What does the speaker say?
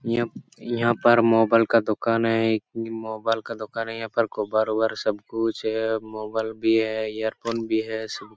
इआ यहाँ पर मोबाइल का दुकान है एक मोबाइल का दुकान है यहाँ पर कवर उभर सब कुछ है मोबाइल भी है ईरफ़ोन भी है सब कुछ --